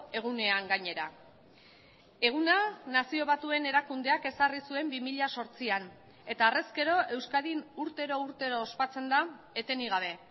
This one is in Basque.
egunean gainera eguna nazio batuen erakundeak ezarri zuen bi mila zortzian eta harrezkero euskadin urtero urtero ospatzen da etenik gabe